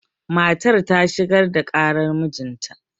matar ta shigar da ƙarar mijinta